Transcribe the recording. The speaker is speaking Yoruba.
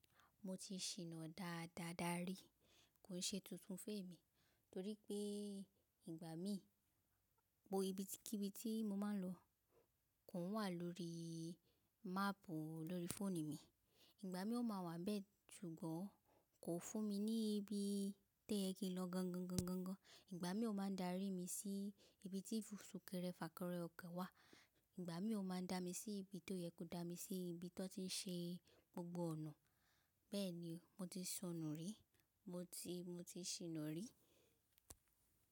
Mo ti ṣìnà dáadáa darí. Kò ṣe tuntun fún èmi torí pé ìgbà mi bo ibi tí kí ibi tí mo máa ń lọ kò wà lórí máàpù lórí fóònù mi. Ìgbà mi ó máa wà bẹ́ẹ̀, ṣùgbọ́n kò fún mi ní ibi toye ki n lọ gangan. Ìgbà mi ó máa dárí mi sí ibi tí fùsùkẹ́rẹ́ fàkẹ́rẹ́ ọkọ̀ wà. Ìgbà mi ó máa dá mi sí ibi tó yẹ kó dá mi sí ibi tí wọ́n ti ń ṣe gbogbo ọ̀nà. Bẹ́ẹ̀ni, mo ti ṣọnù rí, mo ti, mo ti ṣìnà rí.